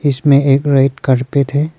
इसमें एक red carpet है।